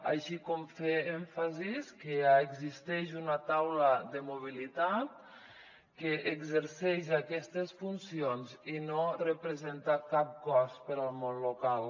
així com fer èmfasi que ja existeix una taula de mobilitat que exerceix aquestes funcions i no representa cap cost per al món local